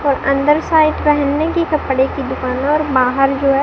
अंदर साइड पहनने की कपड़े की दुकान और बाहर जो है।